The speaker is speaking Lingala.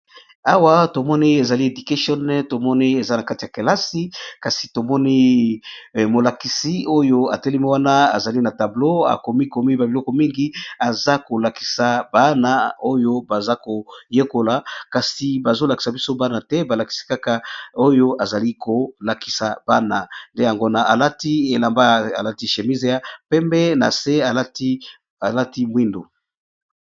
awa tomoni ezali edication tomoni eza na kati ya kelasi kasi tomoni molakisi oyo atelemi wana azali na tablo akomi komi ba biloko mingi eza kolakisa bana oyo baza koyekola kasi bazolakisa biso bana te balakisi kaka oyo azali kolakisa bana nde yango na alati elamba alati shémise ya pembe nase alati mwindu